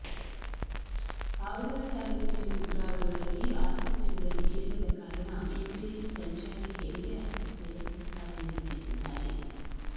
ಪಾವಗಡ ತಾಲ್ಲೂಕಿನ ಕುಗ್ರಾಗಳಲ್ಲಿ ಆಸ್ಪತ್ರೆಗಳಲ್ಲಿ ಇಲ್ಲದ ಕಾರಣ ಇವರೇ ಸಂಚಾರಿ ಹೆರಿಗೆ ಆಸ್ಪತ್ರೆಯಂತೆ ಕಾರ್ಯನಿರ್ವಹಿಸಿದ್ದಾರೆ